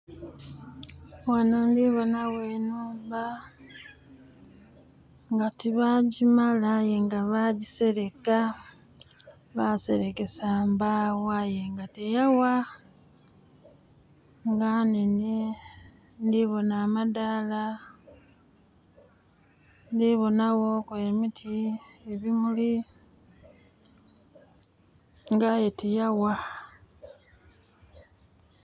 Ghano ndhibonagho enhumba, nga tibaagimala ayenga bagiseleka baserekesa mbawo ayenga tiyagha. Nga nhenhe ndhibona amadaala, ndhibonaghoku emiti, ebimuli, ngaye tiyagha.